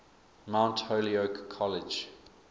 mount holyoke college